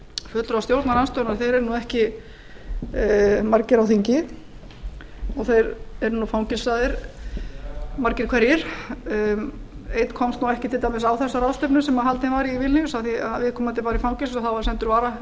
fulltrúar stjórnarandstöðunnar eru nú ekki margir á þingi þeir eru fangelsaðir margir hverjir einn komst nú ekki til dæmis á þessa ráðstefnu sem haldin var í vilníus af því viðkomandi var í fangelsi og þá var sendur